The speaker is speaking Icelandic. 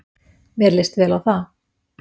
Mér leist vel á það.